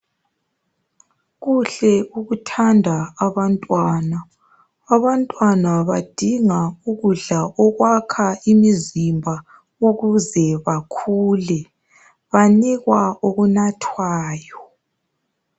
Kuhle ukuthanda abantwana, abantwana badinga ukudla okwakha imizimba ukuze bakhule banikwa okunathwayo.